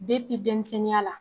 denmisɛnninya la